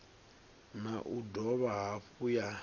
na u dovha hafhu ya